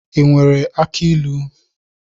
I nwere aki ilu?